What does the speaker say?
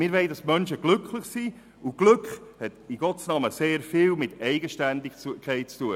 Wir wollen, dass die Menschen glücklich sind, und Glück hat in Gottes Namen sehr viel mit Eigenständigkeit zu tun.